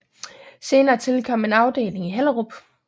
Senere tilkom en afdeling i Hellerup